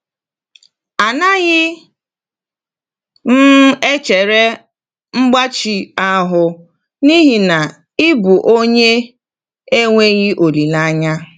“Anaghị m echegharị mgbachi ahụ n’ihi na ị bụ onye enweghị olileanya.”